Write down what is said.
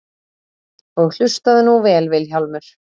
Og hlustaðu nú vel Vilhjálmur.